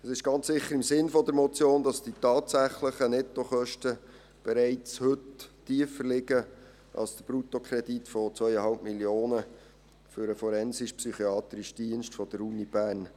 Es ist ganz sicher im Sinne der Motion, dass die tatsächlichen Nettokosten bereits heute tiefer liegen als der Bruttokredit von 2,5 Mio. Franken für den forensisch-psychiatrischen Dienst der Universität Bern.